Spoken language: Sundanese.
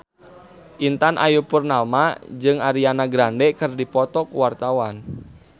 Intan Ayu Purnama jeung Ariana Grande keur dipoto ku wartawan